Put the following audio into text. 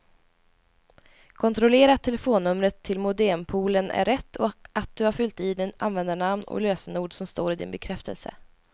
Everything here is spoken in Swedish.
Kontrollera att telefonnumret till modempoolen är rätt och att du har fyllt i det användarnamn och lösenord som står i din bekräftelse.